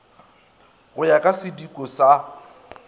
go ya ka sidiko sa